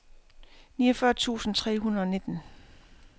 niogfyrre tusind tre hundrede og nitten